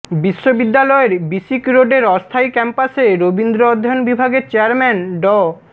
বিশ্ববিদ্যালয়ের বিসিক রোডের অস্থায়ী ক্যাম্পাসে রবীন্দ্র অধ্যয়ন বিভাগের চেয়ারম্যান ড